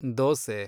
dosa